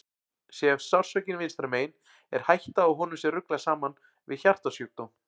Sé sársaukinn vinstra megin er hætta á að honum sé ruglað saman við hjartasjúkdóm.